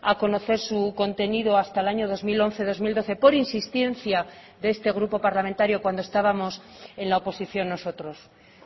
a conocer su contenido hasta el año dos mil once dos mil doce por insistencia de este grupo parlamentario cuando estábamos en la oposición nosotros